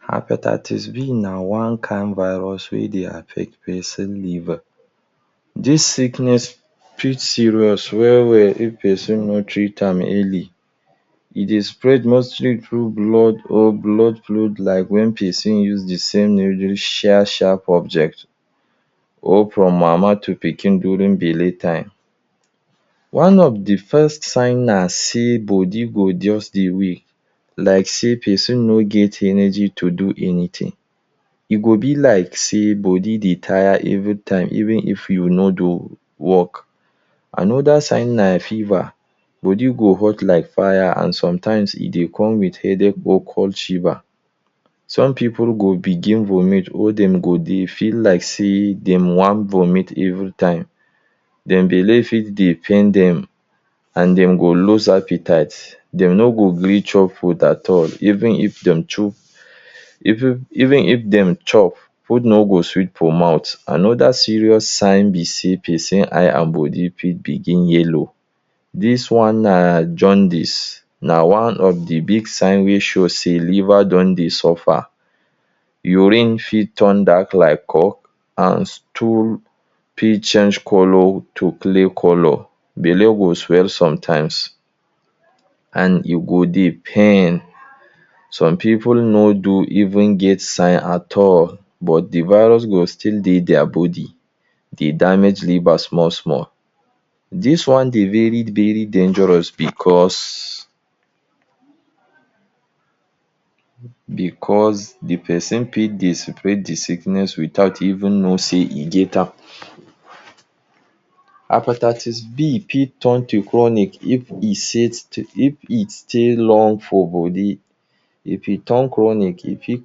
Hepatitis B na one kind virus wey dey affect pesin liver. Dis sickness fit serious well well if pesin no treat am early. E dey spread mostly through blood or blood fluid like when pesin use de same needle share sharp object or from mama to pikin during belle time. One of de first sign na sey body go just dey weak like sey pesin no get energy to do anything. E go be like sey body dey tire every time even if you no do work Another sign na fever. Body go hot like fire and sometimes, e dey come with headache both cold shiver. Some pipu go begin vomit or dem go dey feel like sey dem wan vomit every time. Dem belle fit dey pain dem and dem go lose appetite, dem no go gree chop food at all even if dem even if dem chop, food no go sweet for mouth. Another serious sign be sey pesin eye and body fit begin yellow. Dis one na Jaundice. Na one of the big sign wey show sey liver don dey suffer. Urine fit turn dark like coke and stool fit change colour to clay colour, belle go swell sometimes and e go dey pain. Some pipu no do even get sign at all, but de virus go still dey dia body dey damage liver small-small. Dis one dey very very dangerous because because the pesin fit dey separate the sickness without even know sey e get am. Hepatitis B fit turn to chronic if e set if e stay long for body. If e turn chronic, e fit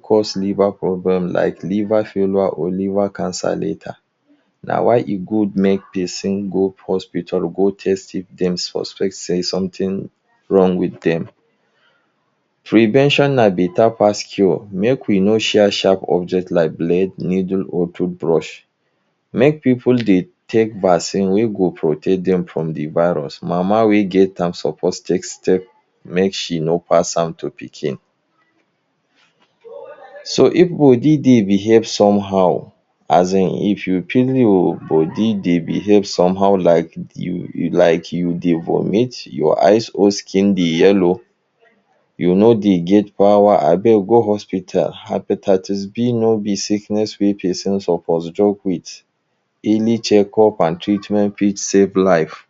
cause liver problem like liver failure or liver cancer later. Na why e good make pesin go hospital go test if dem suspect sey something wrong wit dem. Prevention na better pass cure. Make we no share sharp object like blade, needle or toothbrush. Make pipu dey take vaccine wey go protect dem from the virus. Mama wey get am suppose take step make she no pass am to pikin. So if body dey behave somehow, as in, if you feel your body dey behave somehow, like like you dey vomit, your eyes or skin dey yellow, you no dey get power, abeg go hospital. Hepatitis B no be sickness wey pesin suppose joke with. Early checkup and treatment fit save life.